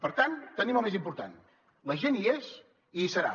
per tant tenim el més important la gent hi és i hi serà